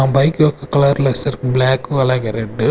ఆ బైక్ యొక్క కలర్ లు వచ్చేసరికి బ్లాక్ అలాగే రెడ్ .